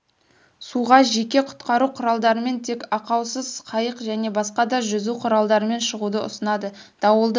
суға жеке құтқару құралдарымен тек ақаусыз қайық және басқа да жүзу құралдарымен шығуды ұсынады дауылды